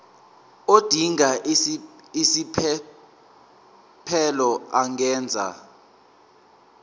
odinga isiphesphelo angenza